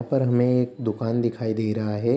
और हमें एक दुकान दिखाई दे रहा है।